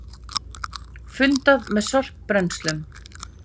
Fundað með sorpbrennslum